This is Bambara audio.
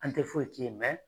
An tɛ foyi k'i ye mɛ